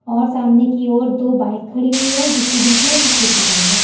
और सामने की ओर दो बाइक खड़ी हुई हैं जिसके बीच में एक स्कूटी खड़ी है।